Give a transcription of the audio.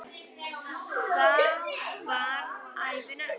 Þá varð ævin öll.